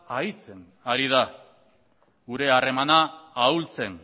aritzen ari da gure harremana ahultzen